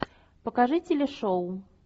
покажи телешоу